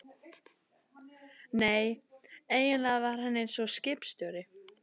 Nei, eiginlega var hann eins og skipstjóri.